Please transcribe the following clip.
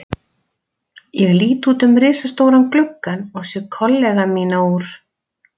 Ég lít út um risastóran gluggann og sé kollega mína úr